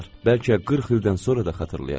Bəlkə 40 ildən sonra da xatırlayacam.